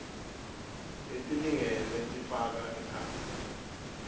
letilingene tifaka ekhatsi